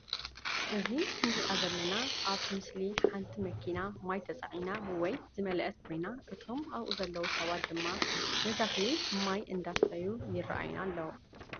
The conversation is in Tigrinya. እዚ እንሪኣ ዘለና ኣብ ምስሊ ሓንቲ መኪና ማይ ተፃዒና ወይ ማይ ዝመለአት ኮይና እቶም ኣብኡ ዘለዉ ሰባት ድማ ንተክሊ ማይ እንዳስተዩ ይረአዩና ኣለዉ።